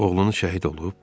"Oğlunuz şəhid olub?"